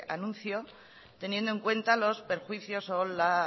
anuncio teniendo en cuenta los perjuicios o la